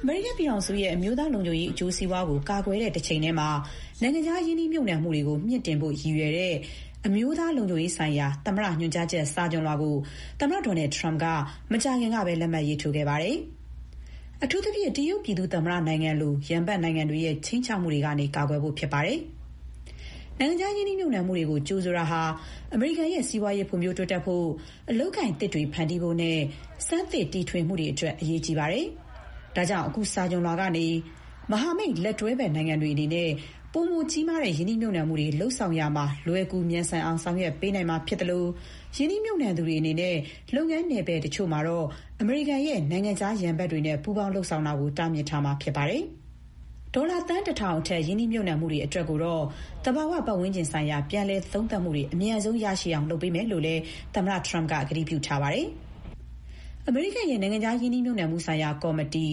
အမေရိကန်ပြည်ထောင်စုရဲ့ အမျိုးသားလုံခြုံရေး အကျိုးစီးပွားကို ကာကွယ်တဲ့ တချိန်တည်းမှာ နိုင်ငံခြားရင်းနှီးမြှုပ်နှံမှုတွေကို မြှင့်တင်ဖို့ရည်ရွယ်တဲ့ အမျိုးသားလုံခြုံရေးဆိုင်ရာ သမ္မတရဲ့ ညွှန်ကြားချက် စာချွန်လွှာကို သမ္မတ ဒေါ်နယ်ထရမ့်က မကြာခင်ကပဲ လက်မှတ်ရေးထိုးခဲ့ပါတယ်။ အထူးသဖြင့် တရုတ်ပြည်သူ့သမ္မတနိုင်ငံလို ရန်ဘက်နိုင်ငံတွေရဲ့ ခြိမ်းခြောက်မှုတွေကနေ ကာကွယ်ဖို့ ဖြစ်ပါတယ်။ နိုင်ငံခြား ရင်းနှီးမြှုပ်နှံမှုတွေကို ကြိုဆိုတာဟာ အမေရိကန်ရဲ့ စီးပွားရေး ဖွံ့ဖြိုးတိုးတက်ဖို့၊ အလုပ်အကိုင်သစ်တွေ ဖန်တီးဖို့နဲ့ ဆန်းသစ် တီထွင်မှုတွေအတွက် အရေးကြီးပါတယ်။ ဒါကြောင့် အခုစာချွန်လွှာကနေ မဟာမိတ်၊ လက်တွဲဖက် နိုင်ငံတွေအနေနဲ့ ပိုမိုကြီးမားတဲ့ ရင်းနှီးမြှုပ်နှံမှုတွေ လုပ်ဆောင်ရာမှာ လွယ်ကူမြန်ဆန်အောင် ဆောင်ရွက်ပေးနိုင်မှာ ဖြစ်သလို ရင်းနှီးမြှုပ်နှံသူတွေ အနေနဲ့ လုပ်ငန်းနယ်ပယ်တချို့မှာတော့ အမေရိကန်ရဲ့ နိုင်ငံခြားရန်ဘက်တွေနဲ့ ပူးပေါင်း လုပ်ဆောင်တာကို တားမြစ်ထားမှာဖြစ်ပါတယ်။ ဒေါ်လာ သန်း ၁ ထောင်အထက် ရင်းနှီးမြှုပ်နှံမှုတွေအတွက်ကိုတော့ သဘာဝပတ်ဝန်းကျင်ဆိုင်ရာ ပြန်လည်သုံးသပ်မှုတွေ အမြန်ဆုံးရရှိအောင် လုပ်ပေးမယ်လို့လည်း သမ္မတထရမ့်က ကတိပေးထားပါတယ်။ အမေရိကန်ရဲ့ နိုင်ငံခြား ရင်းနှီးမြှုပ်နှံမှုဆိုင်ရာ ကော်မတီ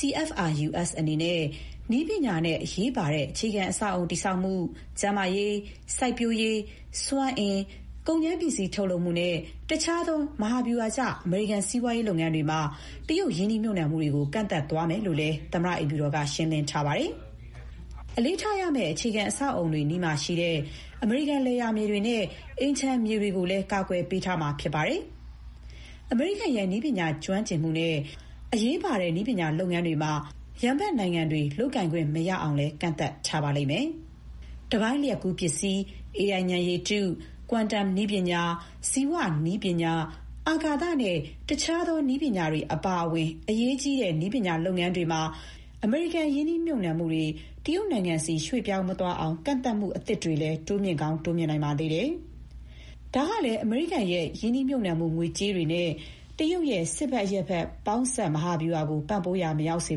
CFIUS အနေနဲ့ နည်းပညာနဲ့ အရေးပါတဲ့ အခြေခံအဆောက်အအုံ တည်ဆောက်မှု၊ ကျန်းမာရေး၊ စိုက်ပျိုးရေး၊ စွမ်းအင်၊ ကုန်ကြမ်းပစ္စည်း ထုတ်လုပ်မှုနဲ့ တခြားသော မဟာဗျူဟာကျ အမေရိကန် စီးပွားရေးလုပ်ငန်းတွေမှာတော့ တရုတ် ရင်းနှီးမြှုပ်နှံမှုတွေကို ကန့်သတ်သွားမယ်လို့လည်း သမ္မတအိမ်ဖြူတော်က ရှင်းလင်းထားပါတယ်။ အလေးထားရမယ့် အဆောက်အအုံတွေ အနီးမှာရှိတဲ့ အမေရိကန် လယ်ယာမြေတွေနဲ့ အိမ်ခြံမြေတွေကိုလည်း ကာကွယ်ပေးထားမှာ ဖြစ်ပါတယ်။ အမေရိကန်ရဲ့ နည်းပညာ ကျွမ်းကျင်မှုတွေနဲ့ အရေးကြီးတဲ့ နည်းပညာလုပ်ငန်းတွေမှာ ရန်ဘက်နိုင်ငံတွေ လုပ်ကိုင်ခွင့်မရအောင်လည်း ကန့်သတ်ထားပါလိမ့်မယ်။ တပိုင်းလျှပ်ကူးပစ္စည်း၊ AI ဉာဏ်ရည်တု၊ ကွမ်တမ် (quantum) နည်းပညာ၊ ဇီဝနည်းပညာ၊ အာကာသနဲ့ တခြားသော နည်းပညာတွေအပါအဝင် အရေးပါတဲ့ နည်းပညာလုပ်ငန်းတွေမှာ အမေရိကန် ရင်းနှီးမြှုပ်နှံမှုတွေ တရုတ်နိုင်ငံဆီ ရွှေ့ပြောင်းမသွားအောင် ကန့်သတ်မှုသစ်တွေလည်း တိုးမြှင့်ကောင်း တိုးမြှင့်နိုင်ပါသေးတယ်။ ဒါကလည်း အမေရိကန်ရဲ့ ရင်းနှီးမြှုပ်နှံမှုငွေတွေနဲ့ တရုတ်ရဲ့ စစ်ဘက်−အရပ်ဘက် ပေါင်းစပ် မဟာဗျူဟာကို ပံ့ပိုးရာ မရောက်စေ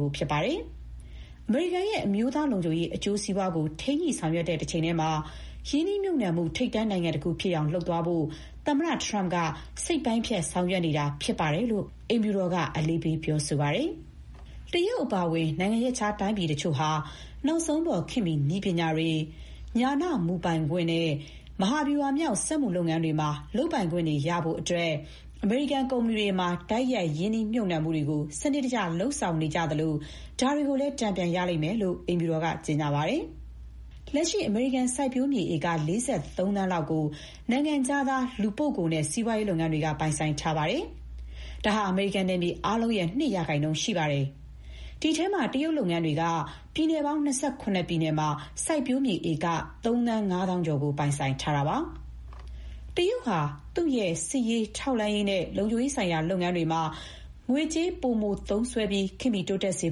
ဖို့ ဖြစ်ပါတယ်။ အမေရိကန်ရဲ့ အမျိုးသားလုံခြုံရေး အကျိုးစီးပွားကို ထိန်းညှိဆောင်ရွက်တဲ့ တချိန်တည်းမှာ ရင်းနှီးမြှုပ်နှံမှု ထိပ်တန်းနိုင်ငံတခုဖြစ်အောင် လုပ်သွားဖို့ သမ္မတထရမ့်က စိတ်ပိုင်းဖြတ် ဆောင်ရွက်နေတာဖြစ်တယ်လို့ အိမ်ဖြူတော်က အလေးပေး ပြောဆိုပါတယ်။ တရုတ်အပါအဝင် နိုင်ငံခြားတိုင်းပြည်တချို့ဟာ နောက်ဆုံးပေါ် ခေတ်မီနည်းပညာတွေ၊ ဉာဏမူ ပိုင်ခွင့်နဲ့ မဟာဗျူဟာမြောက် စက်မှုလုပ်ငန်းတွေမှာ လုပ်ပိုင်ခွင့်တွေ ရဖို့အတွက် အမေရိကန် ကုမ္ပဏီတွေမှာ တိုက်ရိုက် ရင်းနှီးမြှုပ်နှံမှုတွေကို စနစ်တကျ လုပ်ဆောင်နေကြသလို ဒါတွေကိုလည်း တန်ပြန်ရလိမ့်မယ်လို့ အိမ်ဖြူတော်က ကြေညာပါတယ်။ လက်ရှိ အမေရိကန် စိုက်ပျိုးမြေ ဧက ၄၃ သန်းလောက်ကို နိုင်ငံခြားသား လူပုဂ္ဂိုလ်နဲ့ စီးပွားရေး လုပ်ငန်းတွေက ပိုင်ဆိုင်ထားပါတယ်။ ဒါဟာ အမေရိကန် နယ်မြေအားလုံးရဲ့ ၂ % ရှိပါတယ်။ ဒီအထဲမှာ တရုတ်လုပ်ငန်းတွေက ပြည်နယ်ပေါင်း ၂၇ ပြည်နယ်မှာ စိုက်ပျိုးမြေဧက ၃ သန်း ၅ သောင်းကျော်ကို ပိုင်ဆိုင်ထားပါတယ်။ တရုတ်ဟာ သူ့ရဲ့ စစ်ရေး၊ ထောက်လှမ်းရေးနဲ့ လုံခြုံရေးဆိုင်ရာ လုပ်ငန်းတွေမှာ ငွေကြေး ပိုမိုသုံးစွဲနိုင်ဖို့၊ ခေတ်မီ တိုးတက်စေ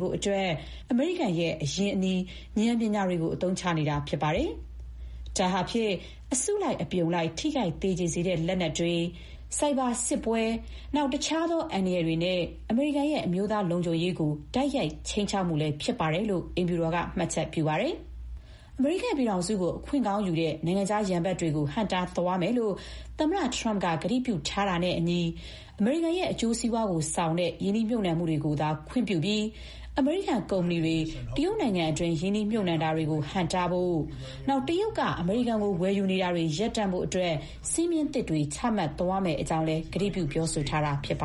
ဖို့အတွက် အမေရိကန်ရဲ့ အရင်းအနှီး၊ ဉာဏ်ပညာတွေကို အသုံးချနေတာ ဖြစ်ပါတယ်။ ဒါဟာဖြင့် အစုလိုက်အပြုံလိုက် ထိခိုက်သေကြေစေတဲ့ လက်နက်တွေ၊ ဆိုက်ဘာ စစ်ပွဲနဲ့ တခြားသော အန္တရာယ်တွေနဲ့ အမေရိကန်ရဲ့ အမျိုးသားလုံခြုံရေးအပေါ် တိုက်ရိုက် ခြိမ်းခြောက်မှုလည်း ဖြစ်ပါတယ်လို့ အိမ်ဖြူတော်က မှတ်ချက်ပြုပါတယ်။ အမေရိကန်ပြည်ထောင်စုကို အခွင့်ကောင်းယူတဲ့ နိုင်ငံခြားရန်ဘက်တွေကို ဟန့်တားသွားမယ်လို့ သမ္မတထရမ့်က ကတိပြုထားတာနဲ့အညီ အမေရိကန်ရဲ့ အကျိုးစီးပွားကိုဆောင်တဲ့ ရင်နှီးမြှုပ်နှံမှုတွေကိုသာ ခွင့်ပြုပြီး အမေရိကန်ကုမ္ပဏီတွေ တရုတ်နိုင်ငံတွင်း ရင်းနှီးမြှုပ်နှံတာတွေကို ဟန့်တားဖို့၊ တရုတ်က အမေရိကန်ကို ဝယ်ယူနေတာတွေကို ရပ်တန့်ဖို့အတွက် စည်းမျည်းသစ်တွေ ချမှတ်သွားမယ့်အကြောင်း ကတိပြုထားတာ ဖြစ်ပါ